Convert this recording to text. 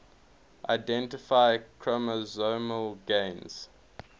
identify chromosomal gains